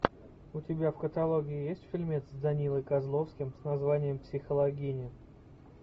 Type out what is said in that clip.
у тебя в каталоге есть фильмец с данилой козловским с названием психологини